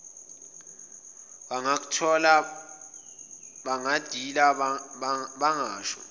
bangakuthola bangadila bangasho